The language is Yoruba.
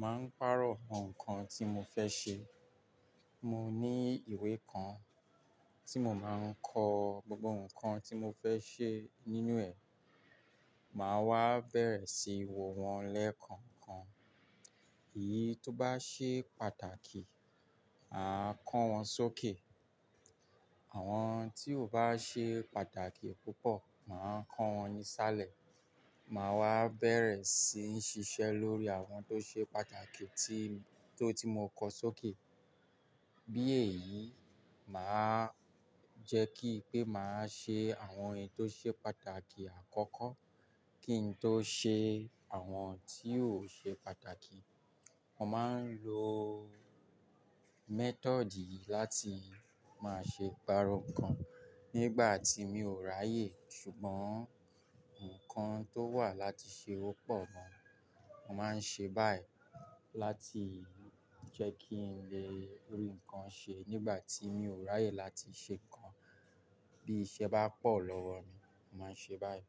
màá ń pàrọ̀ àwọn nǹkan tí mo fẹ́ ṣe. Mo ní ìwé kan tí mo máa ń kọ gbogbo nǹkan tí mo fẹ́ ṣe nínú ẹ̀. Màá wá bẹ̀rẹ̀ sí í wo wọn lẹ́ẹ̀kan kan. Èyí tó bá ṣe pàtàkì, màá kọ́ wọn sókè. Àwọn tí o bá ṣe pàtàkì púpọ̀, màá kọ́ wọn nísàlẹ̀. Màá wá bẹ̀rẹ̀ sí ń ṣiṣẹ́ lórí àwọn tó ṣe pàtàkì tí, tó ti mo kọ sókè. Bí èyí, màá jẹ́ kí pé màá ṣe àwọn èyí tó ṣe pàtàkì àkọ́kọ́ kí n tó ṣe àwọn tí ò ṣe pàtàkì. Mo máa ń lo method yìí láti máa ṣe pàrọ̀ nǹkan nígbà tí mi ò ráyè ṣùgbọ́n nǹkan tó wà láti ṣe ó pọ̀ gan Mo máa ń ṣe báyìí láti jẹ́ kí n lè rí nǹkan ṣe nígbà tí mi ò ráyè láti ṣe nǹkan. Bí iṣẹ́ bá pọ̀ lọ́wọ mi, màá ń ṣe báyìí.